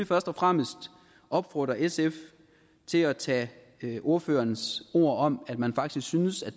først og fremmest opfordre sf til at tage ordførerens ord om at man faktisk synes at